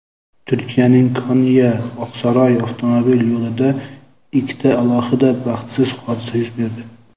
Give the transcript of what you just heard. Turkiyaning Konya-Oqsaroy avtomobil yo‘lida ikkita alohida baxtsiz hodisa yuz berdi.